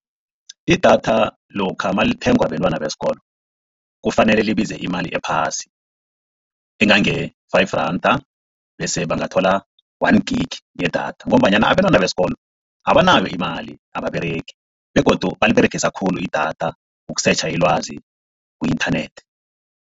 Idatha lokha nalithengwa bentwana besikolo kufanele libize imali ephasi, engange-five randa bese bangathola one gigi yedatha, ngombanyana abentwana besikolo abanayo imali ababeregi begodu baliberegisa khulu idatha ukusetjha ilwazi ku-internet.